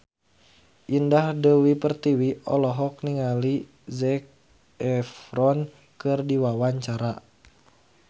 Indah Dewi Pertiwi olohok ningali Zac Efron keur diwawancara